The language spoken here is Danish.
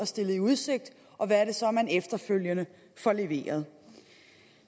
stillet i udsigt og hvad det så er man efterfølgende får leveret